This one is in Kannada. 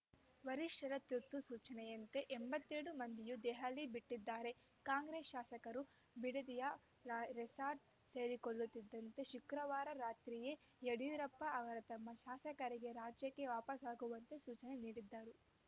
ವರಿಷ್ಠರ ತುರ್ತು ಸೂಚನೆಯಂತೆ ಎಂಬತ್ತೆರಡು ಮಂದಿಯೂ ದೆಹಲಿ ಬಿಟ್ಟಿದ್ದಾರೆ ಕಾಂಗ್ರೆಸ್‌ ಶಾಸಕರು ಬಿಡದಿಯ ರೆಸಾರ್ಟ್‌ ಸೇರಿಕೊಳ್ಳುತ್ತಿದ್ದಂತೆ ಶುಕ್ರವಾರ ರಾತ್ರಿಯೇ ಯಡಿಯೂರಪ್ಪ ಅವರು ತಮ್ಮ ಶಾಸಕರಿಗೆ ರಾಜ್ಯಕ್ಕೆ ವಾಪಸಾಗುವಂತೆ ಸೂಚನೆ ನೀಡಿದ್ದರು